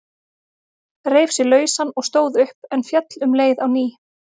Reif sig lausan og stóð upp, en féll um leið á ný.